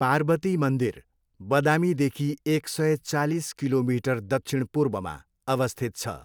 पार्वती मन्दिर, बदामीदेखि एक सय, चालिस किलोमिटर दक्षिण पूर्वमा अवस्थित छ।